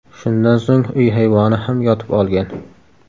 Shundan so‘ng uy hayvoni ham yotib olgan.